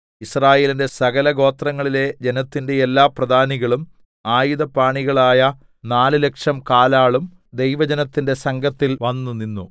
യിസ്രായേലിന്റെ സകലഗോത്രങ്ങളിലെ ജനത്തിന്റെ എല്ലാ പ്രധാനികളും ആയുധപാണികളായ നാല് ലക്ഷം കാലാളും ദൈവജനത്തിന്റെ സംഘത്തിൽ വന്നുനിന്നു